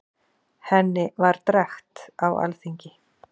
Henni var drekkt á alþingi.